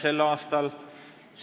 a Riigikohtu liikmeks.